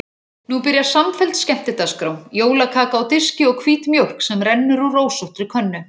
Nú byrjar samfelld skemmtidagskrá: jólakaka á diski og hvít mjólk sem rennur úr rósóttri könnu.